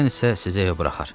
Ken isə sizi evə buraxar.